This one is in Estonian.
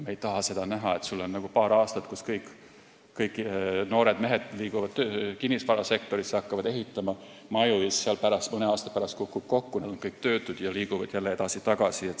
Me ei taha näha seda, et on paar aastat, kus kõik noored mehed liiguvad kinnisvarasektorisse, hakkavad maju ehitama, aga mõne aasta pärast kukub ehitusturg kokku, siis on nad kõik töötud ja liiguvad jälle edasi-tagasi.